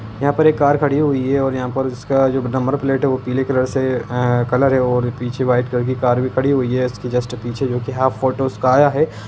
यहाँ पर एक कार खड़ी हुई है और यहाँ पर इसका नंबर प्लेट है वो पीले कलर से आ कलर है और पीछे वाइट कलर की कार भी खड़ी हुई है इसके जस्ट पीछे जो की हाफ फोटो उसका आया है।